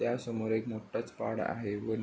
त्या समोर एक मोठाच पाड आहे व--